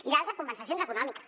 i l’altra compensacions econòmiques